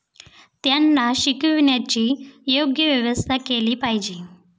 त्यांना शिकविण्याची योग्य व्यवस्था केली पाहिजे.